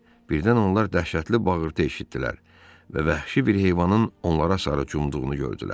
Birdən onlar dəhşətli bağırtı eşitdilər və vəhşi bir heyvanın onlara sarı cumduğunu gördülər.